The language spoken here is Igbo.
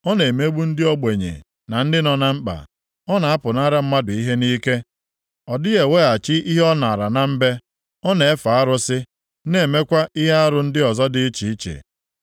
Ọ na-emegbu ndị ogbenye na ndị nọ na mkpa. Ọ na-apụnara mmadụ ihe nʼike. Ọ dịghị eweghachi ihe o naara na mbe. Ọ na-efe arụsị, na-emekwa ihe arụ ndị ọzọ dị iche iche.